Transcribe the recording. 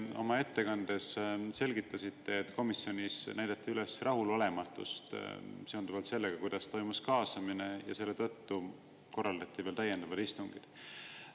Oma ettekandes te selgitasite, et komisjonis näidati üles rahulolematust seonduvalt sellega, kuidas toimus kaasamine, ja selle tõttu korraldati veel täiendavaid istungeid.